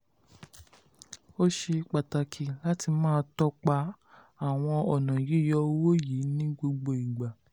ó ṣe pàtàkì láti máa tọ́pa àwọn ọ̀nà yíyọ owó yìí ní gbogbo ìgbà.